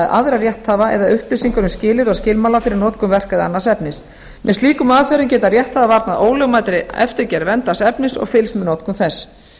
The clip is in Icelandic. aðra rétthafa eða upplýsingar um skilyrði og skilmála fyrir notkun verka eða annars efnis með slíkum aðferðum geta rétthafar varnað ólögmætri eftirgerð verndaðs efnis og fylgst með notkun þess